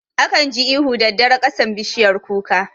Akan ji ihu daddare kasan bishiyar kuka